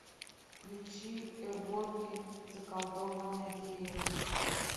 включи эвоки заколдованная деревня